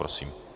Prosím.